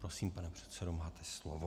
Prosím, pane předsedo, máte slovo.